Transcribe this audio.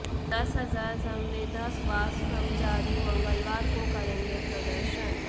दस हजार संविदा स्वास्थ्य कर्मचारी मंगलवार को करेंगें प्रदर्शन